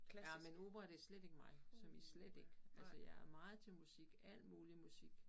Ja men opera det slet ikke mig som i slet ikke. Altså jeg er meget til musik alt muligt musik